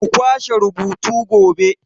Ku kwashe rubutu gobe!